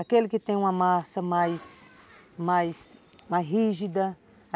Aquele que tem uma massa mais... mais... mais rígida.